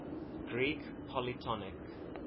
greek polytonic